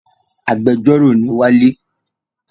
Agbẹjọ́rœ ni wale